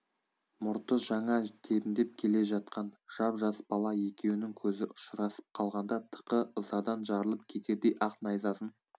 мұрты жаңа тебіндеп келе жатқан жап жас бала екеуінің көзі ұшырасып қалғанда тықы ызадан жарылып кетердей ақ найзасын